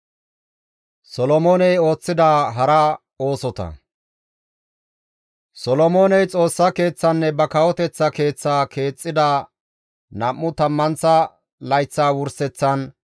Solomooney Xoossa Keeththaanne ba kawoteththa keeththaa keexxida nam7u tammanththa layththa wurseththan,